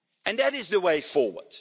That is the way forward.